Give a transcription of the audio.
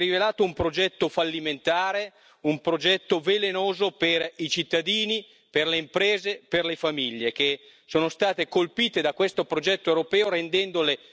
Señora presidenta, señor Juncker,